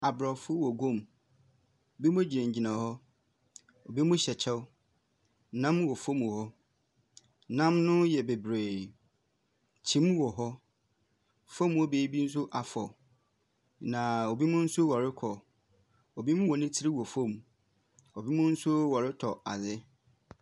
Aborɔfo wɔ guom. Ebinom gyinagyina hɔ, ebinom hyɛ kyɛw. Nnam no wɔ fam wɔ hɔ. Nnam no yɛ bebiree. Kyim wɔ hɔ . Fam hɔ baabi nso afɔ. Na ebinom nso wɔrekɔ. Ebinom wɔn tiri wɔ fam. Ebinom nso wɔretɔ adze.